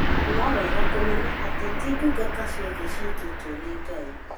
No nĩwega kũmenya atĩ ti ndungata ciothe ciĩtĩtwo nĩ Ngai